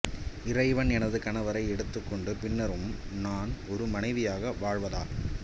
இறைவன் எனது கணவரை எடுத்துக் கொண்ட பின்னரும் நான் ஒரு மனைவியாக வாழ்வதா